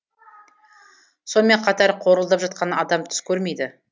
сонымен қатар қорылдап жатқан адам түс көрмейді